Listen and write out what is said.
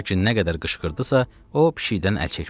Lakin nə qədər qışqırdısa, o pişikdən əl çəkmədi.